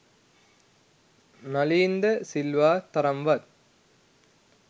නලීන්ද සිල්වා තරම්වත්